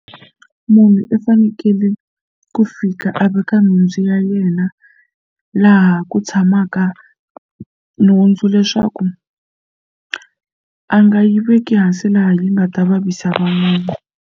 Munhu u fanekele ku fika a veka nhundzu ya yena laha ku tshamaka nhundzu leswaku a nga yi veki hansi laha yi nga ta vavisa van'wana.